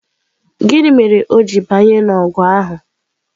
Gịnị mere o ji banye n'ọgụ ahụ?